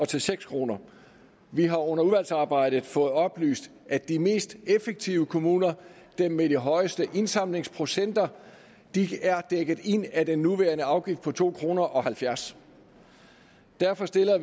til seks kroner vi har under udvalgsarbejdet fået oplyst at de mest effektive kommuner dem med de højeste indsamlingsprocenter er dækket ind af den nuværende afgift på to kroner derfor stiller